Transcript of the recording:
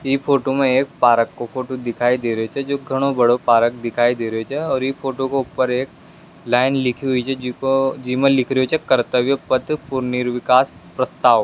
ई फोटो में एक पार्क को फोटो दिखाई दे रेहो छे जो घणो बड़ो पार्क दिखाई दे रेहो छे यो फोटो के ऊपर एक लाइन लिखी हुई छे जिको जिमे लिखी हुई छे कर्त्तव्य पथ पुनर्विकास प्रस्ताव।